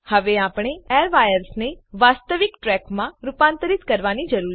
હવે આપણે આ એરવાયર્સને વાસ્તવિક ટ્રેકમાં રૂપાંતરીત કરવાની જરૂર છે